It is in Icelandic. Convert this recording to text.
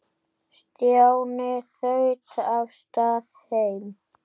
Stjáni þaut af stað heim.